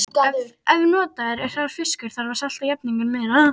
Ef notaður er hrár fiskur þarf að salta jafninginn meira.